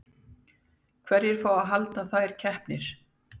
Hverjir fá að halda þær keppnir?